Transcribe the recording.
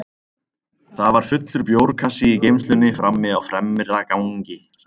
Það var fullur bjórkassi í geymslunni frammi á fremra gangi, sagði hún.